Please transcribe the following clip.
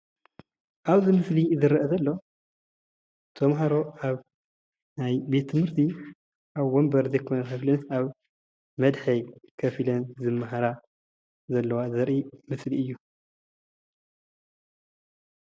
ኣብዚ ምስሊ ዝረአ ዘሎ ተማሃሮ ኣብ ናይ ቤት ትምህርቲ ኣብ ወንበር ዘይኮነ ክፍሊ ኣብ መድሐ ኮፍ ኢለን ዝመሃራ ዘለዋ ዘርኢ ምስሊ እዩ፡፡